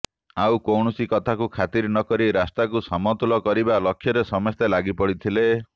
ଆଉ କୌଣସି କଥାକୁ ଖାତିର ନକରି ରାସ୍ତାକୁ ସମତୁଲ କରିବା ଲକ୍ଷ୍ୟରେ ସମସ୍ତେ ଲାଗିପଡିଥିଲେ